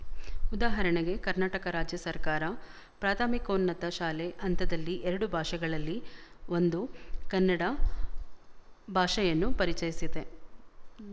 ಉದಾಹರಣೆಗೆ ಕರ್ನಾಟಕ ರಾಜ್ಯ ಸರಕಾರ ಪ್ರಾಥಮಿಕೋನ್ನತ ಶಾಲೆ ಹಂತದಲ್ಲಿ ಎರಡು ಭಾಷೆಗಳಲ್ಲಿ ಒಂದು ಕನ್ನಡ ಭಾಷೆಯನ್ನು ಪರಿಚಯಿಸಿದೆ